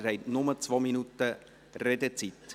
Sie haben nur 2 Minuten Redezeit.